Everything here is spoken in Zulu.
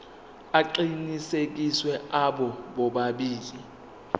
aqinisekisiwe abo bobabili